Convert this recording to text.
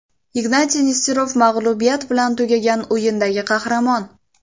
Ignatiy Nesterov mag‘lubiyat bilan tugagan o‘yindagi qahramon.